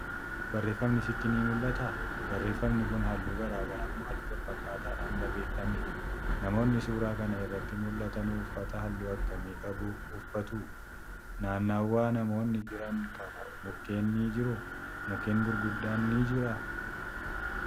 Barreeffamni sitti ni mul'ataa? Barreeffamni Kuni halluu garagaraa moo halluu wal-fakkaataadhaan barreeffame?.namoonni suuraa Kan irratti mul'atanu uffata halluu akkamiin qabu uffatu?. naannawa namoonni Jiran Kana mukkeen ni jiruu?. Mukkeen gurguddaan ni jiraa?